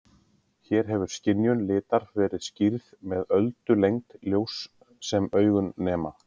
Hér hefur skynjun litar verið skýrð með öldulengd ljóss sem augun nema.